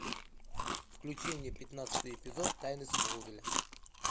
включи мне пятнадцатый эпизод тайны смолвиля